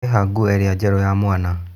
Ĩha nguo ĩrĩa njerũ ya mwana.